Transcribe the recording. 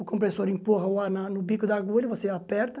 O compressor empurra o ar na no bico da agulha, você aperta.